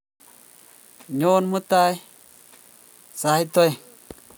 Nyeamutol mutai sait aeng'